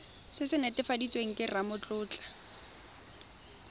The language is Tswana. se se netefaditsweng ke ramatlotlo